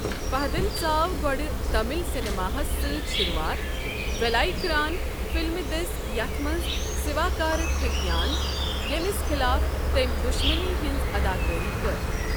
فہدن ژاو گۅڈٕ تامِل سیٚنِماہس سۭتۍ شروعات ، وٮ۪لایکران فِلمہِ دٔسۍ یتھ منٛز سِواکارِتِھیکیان، ییٚمِس خِلاف تٔمۍ دُشمنی ہٕنٛز اداکٲری کٔر۔